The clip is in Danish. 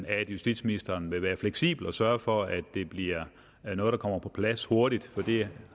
at justitsministeren vil være fleksibel og sørge for at det bliver noget der kommer på plads hurtigt for der